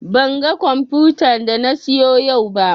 Ban ga komfutan da na siyo yau ba